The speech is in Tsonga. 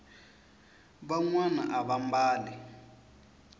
vanwani ava mbali